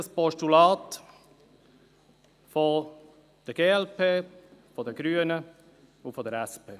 Das Postulat wurde von der glp, von den Grünen und von der SP abgewiesen.